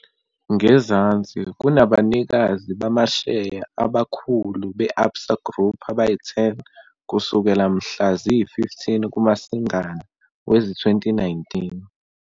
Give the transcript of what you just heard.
Ngezansi kunabanikazi bamasheya abakhulu be-Absa Group abayi-10 kusukela mhla ziyi-15 kuMasingana wezi-2019.